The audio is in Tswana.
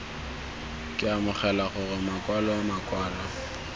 ke amogela gore makwalo makwalo